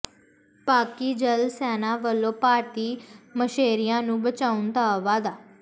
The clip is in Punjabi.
ਪਾਕਿ ਜਲ ਸੈਨਾ ਵਲੋਂ ਭਾਰਤੀ ਮਛੇਰਿਆਂ ਨੂੰ ਬਚਾਉਣ ਦਾ ਦਾਅਵਾ